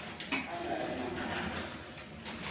a nga ri na mhaka